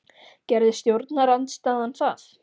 Gerði stjórnarandstaðan það?